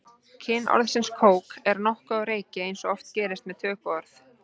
Kyn orðsins kók er nokkuð á reiki eins og oft gerist með tökuorð.